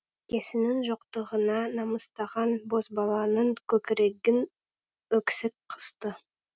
әкесінің жоқтығына намыстанған бозбаланың көкірегін өксік қысты